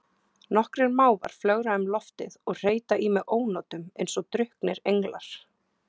Nokkrir mávar flögra um loftið og hreyta í mig ónotum eins og drukknir englar.